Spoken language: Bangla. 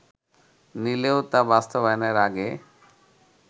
নিলেও তা বাস্তবায়নের আগে